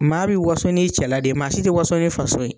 Maa bi waso n'i cɛla de ye maa si tɛ waso n'i faso ye.